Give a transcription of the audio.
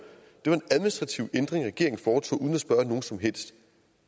regeringen foretog uden at spørge nogen som helst